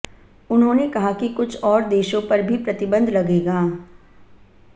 उन्होंने कहा कि कुछ और देशों पर भी प्रतिबंध लगेगा